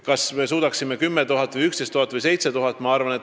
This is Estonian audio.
Kas me suudaksime kiiresti informeerida 7000, 10 000 või 11 000 inimest?